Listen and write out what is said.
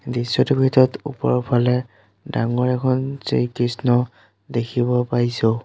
দৃশ্যটোৰ ভিতৰত ওপৰফালে ডাঙৰ এখন শ্ৰী কৃষ্ণ দেখিব পাইছোঁ।